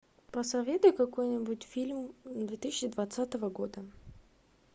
посоветуй какой нибудь фильм две тысячи двадцатого года